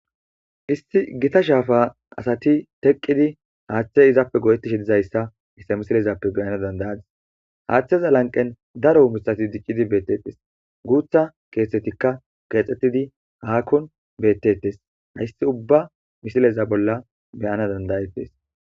Issi gita shaafa asati teqqidi haaththe izappe godettishi dizayssa isse misilezappe beyana dandayadis haaththeza lanqen daro misati diccidi beetettes guutha keethtetikka keexxettidi haakkon beettettes hayssi ubba misileza bolla beyana dandayettes.